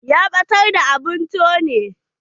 Ya ɓatar da abun tone.